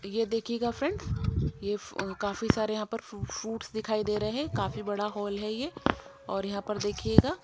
ये देखिएगा फ्रेंड्स ये काफी सारे यहां पर फ्रूट्स दिखाई दे रहे हैं काफी बड़ा हॉल है ये और यहां पर देखिएगा--